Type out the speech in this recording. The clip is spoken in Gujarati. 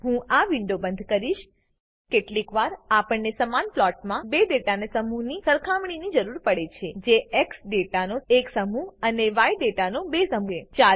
હું આ વિન્ડો બંધ કરીશ કેટલીક વાર આપણને સમાન પ્લોટમાં બે ડેટાના સમૂહની સરખામણીની જરૂર પડે છે જે એક્સ દાતા નો એક સમૂહ અને ય દાતા નો બે સમૂહ છે